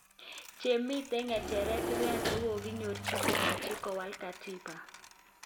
Chemiten ngejeret 300 kokokinyorich komache kowal katiba